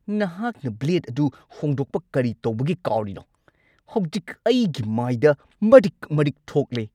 ꯅꯍꯥꯛꯅ ꯕ꯭ꯂꯦꯗ ꯑꯗꯨ ꯍꯣꯡꯗꯣꯛꯄ ꯀꯔꯤ ꯇꯧꯕꯒꯤ ꯀꯥꯎꯔꯤꯅꯣ? ꯍꯧꯖꯤꯛ ꯑꯩꯒꯤ ꯃꯥꯏꯗ ꯃꯔꯤꯛ-ꯃꯔꯤꯛ ꯊꯣꯛꯂꯦ!